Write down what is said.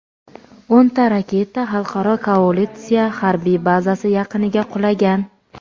o‘nta raketa xalqaro koalitsiya harbiy bazasi yaqiniga qulagan.